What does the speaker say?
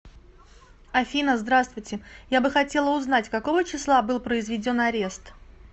афина здравствуйте я бы хотела узнать какого числа был произведен арест